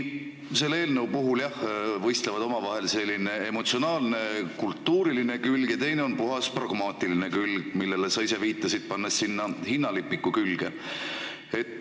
Selle eelnõu puhul võistlevad omavahel selline emotsionaalne, kultuuriline külg ja puhas pragmaatiline külg, millele sa ise viitasid, pannes sinna hinnalipiku külge.